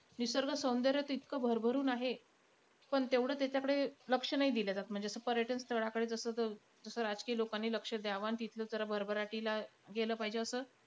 निसर्ग सौंदर्य तर इतकं भरभरून आहे. पण तेवढं त्याच्याकडे लक्ष नाई दिलं जात. म्हणजे आता पर्यटन स्थळाकडे जसं जसं राजकीय लोकांनी लक्ष द्यावं आणि तिथलं जरा भरभराटीला गेलं पाहिजे असं.